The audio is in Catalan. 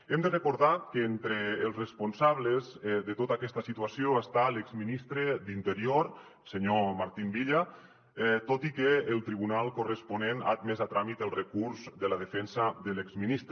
hem de recordar que entre els responsables de tota aquesta situació està l’exministre d’interior el senyor martín villa tot i que el tribunal corresponent ha admès a tràmit el recurs de la defensa de l’exministre